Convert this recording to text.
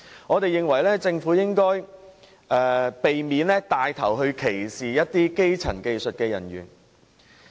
我們認為政府應避免牽頭歧視某些基層技術人員。